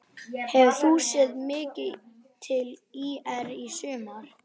Hefur þú séð mikið til ÍR í sumar?